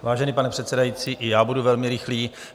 Vážený pane předsedající, i já budu velmi rychlý.